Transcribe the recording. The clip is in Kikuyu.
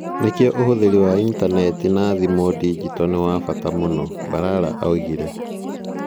Nĩkĩo ũhũthĩri wa intaneti na thimu digito nĩ wa bata mũno", Balala oigire.